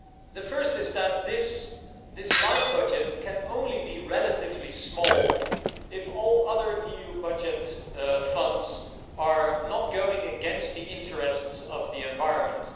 The first is that this LIFE budget can only be relatively small if all other EU budget funds are not going against the interests of the environment.